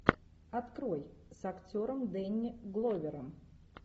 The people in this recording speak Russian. открой с актером дэнни гловером